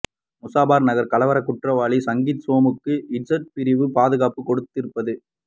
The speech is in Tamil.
முசாபர் நகர் கலவர குற்றவாலி சங்கீத் சோமுக்கு இசட் பிரிவு பாதுகாப்பு கொடுத்திருப்பது